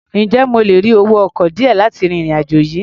Ǹjẹ́ mo lè rí owó ọkọ̀ díẹ̀ láti ri ìrìn-àjò yìí?